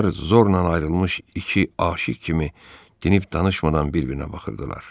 Onlar zorla ayrılmış iki aşiq kimi dinib danışmadan bir-birinə baxırdılar.